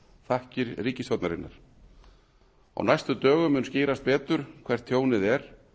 þakkir ríkisstjórnarinnar á næstu dögum mun skýrast betur hvert tjónið er